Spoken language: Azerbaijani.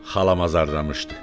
Xalam azardımışdı.